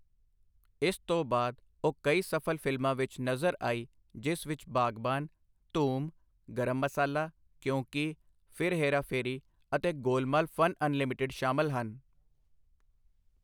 ਇਸ ਤੋਂ ਬਾਅਦ, ਉਹ ਕਈ ਸਫ਼ਲ ਫ਼ਿਲਮਾਂ ਵਿੱਚ ਨਜ਼ਰ ਆਈ ਜਿਸ ਵਿੱਚ ਬਾਗਬਾਨ, ਧੂਮ, ਗਰਮ ਮਸਾਲਾ, ਕਿਓਂ ਕੀ, ਫਿਰ ਹੇਰਾ ਫੇਰੀ ਅਤੇ ਗੋਲਮਾਲਃ ਫਨ ਅਨਲਿਮਟਿਡ ਸ਼ਾਮਲ ਹਨ।